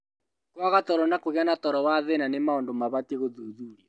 Kwaga toro na kũgĩa na toro wa thĩna nĩ maũndũ mabatiĩ gũthuthurio